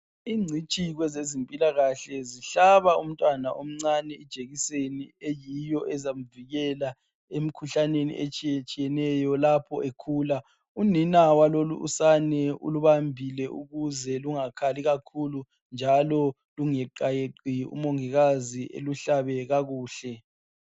incitshi kwezezimpilakahle zihlaba umntwana ijekiseni eyiyo ezamvikela emkhuhlaneni etshiyatshiyeneyo lapho bekhula unina walolu usane ulubambile ukze lungakhali kakhulu njalo lunga yeqayeqi umongikazi eluhlabe kakuhle